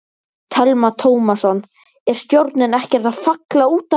Telma Tómasson: Er stjórnin ekkert að falla út af þessu?